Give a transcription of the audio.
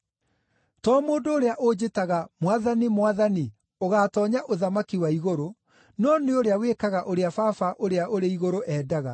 “To mũndũ ũrĩa ũnjĩtaga, ‘Mwathani, Mwathani,’ ũgaatoonya ũthamaki wa igũrũ, no nĩ ũrĩa wĩkaga ũrĩa Baba ũrĩa ũrĩ igũrũ endaga.